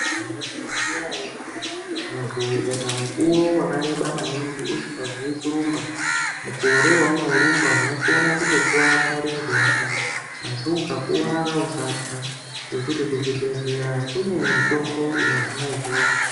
Maizviziya ere kuti muntu ukaita mukuwo wakareba maningi usikazii kurumba, mukore waunorumba unokona kutokuwara murenje wako? Asi ukakuwara usathya, ngekuti muchibhedhleya kune mitombo inohina izvozvo.